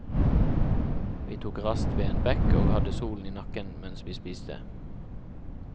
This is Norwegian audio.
Vi tok rast ved en bekk, og hadde solen i nakken mens vi spiste.